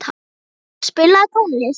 Gunnur, spilaðu tónlist.